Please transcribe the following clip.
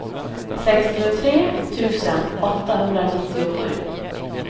sextiotre tusen åttahundranittiosju